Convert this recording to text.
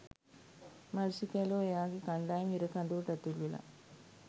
Mercy කැලෝ එයාගෙ කණ්ඩායම හිර කඳවුරට ඇතුල් වෙලා